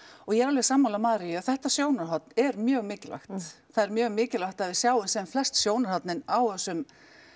og ég er alveg sammála Maríu að þetta sjónarhorn er mjög mikilvægt það er mjög mikilvægt að við sjáum sem flest sjónarhorn á þessum